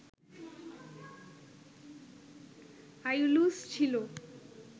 Aeolus ছিল